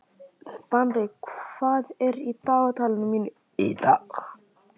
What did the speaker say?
Bambi, hvað er í dagatalinu mínu í dag?